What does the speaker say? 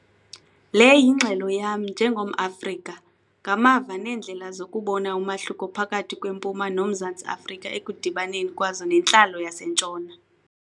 Le yingxelo yam njengomAfrika, ngamava neendlela zokubona umahluko phakathi kweMpuma noMzantsi Afrika ekudibaneni kwazo nentlalo yaseNtshona.